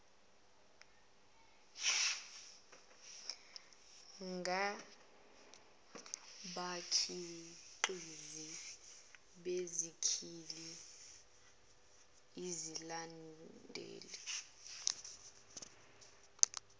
ngabakhiqizi besikhali iyalandelwa